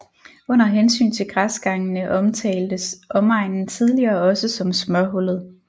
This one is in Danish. Under hensyn til græsgangene omtaltes omegnen tidligere også som smørhullet